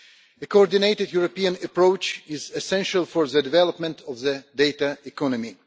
A coordinated European approach is essential for the development of the data economy.